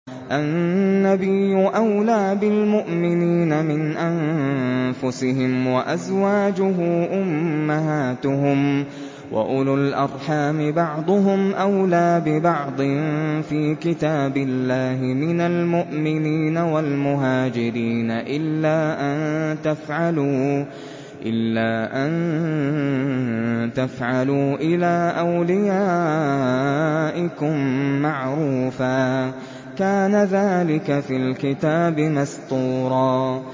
النَّبِيُّ أَوْلَىٰ بِالْمُؤْمِنِينَ مِنْ أَنفُسِهِمْ ۖ وَأَزْوَاجُهُ أُمَّهَاتُهُمْ ۗ وَأُولُو الْأَرْحَامِ بَعْضُهُمْ أَوْلَىٰ بِبَعْضٍ فِي كِتَابِ اللَّهِ مِنَ الْمُؤْمِنِينَ وَالْمُهَاجِرِينَ إِلَّا أَن تَفْعَلُوا إِلَىٰ أَوْلِيَائِكُم مَّعْرُوفًا ۚ كَانَ ذَٰلِكَ فِي الْكِتَابِ مَسْطُورًا